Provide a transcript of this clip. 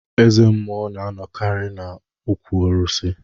Ezemụọ na anọkari na okwu arụsị.